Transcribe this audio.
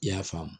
I y'a faamu